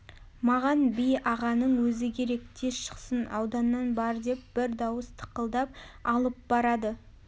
маған би ағаның өзі керек тез шықсын ауданнан бар деп бір дауыс тақылдап алып барады